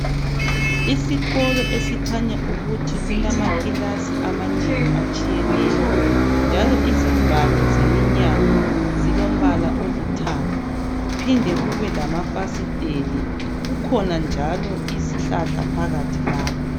Isikolo esikhanya ukuthi kulamakilasi amanengi atshiyeneyo, njalo izivalo zeminyango zilombala olithanga, kuphinde kube lamafasiteli. Kukhona njalo izihlahla phakathi lapha.